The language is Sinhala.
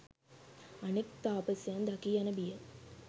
අනෙක් තාපසයන් දකී යන බියෙන්